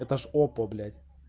это ж опа блять